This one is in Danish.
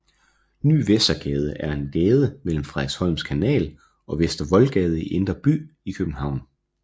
Ny Vestergade er en gade mellem Frederiksholms Kanal og Vester Voldgade i Indre By i København